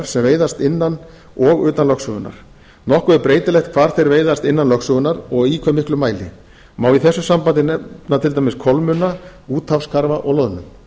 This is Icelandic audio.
sem veiðast innan og utan lögsögunnar nokkuð er breytilegt hvar þeir veiðast innan lögsögunnar og í hve miklum mæli má í þessu sambandi nefna til dæmis kolmunna úthafskarfa og loðnu